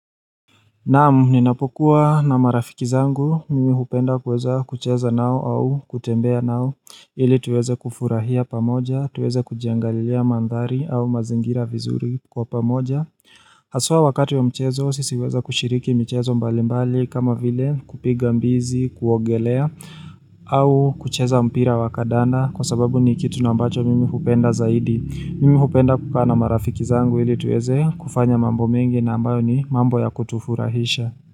Naamu, ninapokuwa na marafiki zangu, mimi hupenda kweza kucheza nao au kutembea nao ili tuweze kufurahia pamoja, tuweze kujangalia mandhari au mazingira vizuri kwa pamoja Aswa wakati ya mchezo, sisiweza kushiriki mchezo mbalimbali kama vile kupiga mbizi, kuogelea au kucheza mpira wakandanda kwa sababu ni kitu nambacho mimi hupenda zaidi mimi hupenda kukana marafiki zangu ili tueze kufanya mambo mengi nambayo ni mambo ya kutufurahisha.